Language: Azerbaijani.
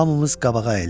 Hamımız qabağa əyildik.